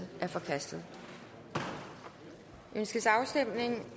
er forkastet ønskes afstemning